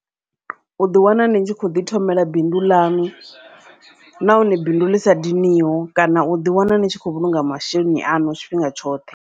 U ḓi wana ni tshi kho ḓi thomela bindu ḽanu, nahone bindu ḽi sa diniho kana uḓi wana ni tshi khou vhulunga masheleni aṋu tshifhinga tshoṱhe.